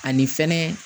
Ani fɛnɛ